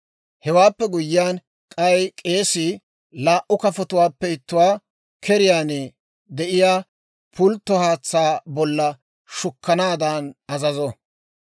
Hewaappe guyyiyaan, k'ay k'eesii laa"u kafotuwaappe ittuwaa keriyaan de'iyaa pultto haatsaa bolla shukkanaadan azazo.